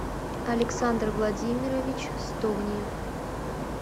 александр владимирович стогниев